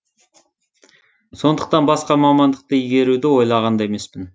сондықтан басқа мамандықты игеруді ойлаған да емес